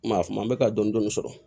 Maa kuma mɛ ka dɔn dɔni sɔrɔ